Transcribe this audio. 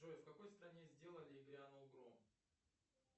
джой в какой стране сделали и грянул гром